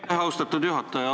Aitäh, austatud juhataja!